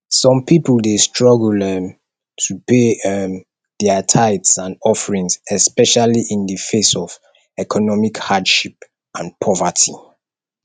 some people dey struggle um to pay um dia tithes and offerings especially in di face of economic hardship and poverty